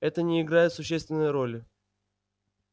это не играет существенной роли